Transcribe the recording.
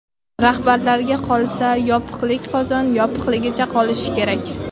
Rahbarlarga qolsa, yopiqlik qozon yopiqligicha qolishi kerak.